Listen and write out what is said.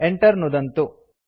Enter नुदन्तु